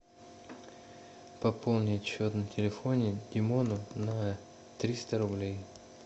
пополнить счет на телефоне димону на триста рублей